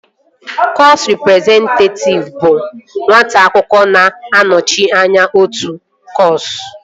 Kọsu rịprezentatịv bụ nwata akwụkwọ na-anọchite anya otu kọsu